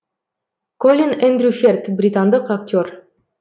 колин эндрю ферт британдық актер